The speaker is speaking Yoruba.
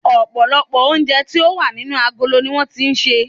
Òpòlòpò oúnje tí o wà nínú agolo ni won ti sè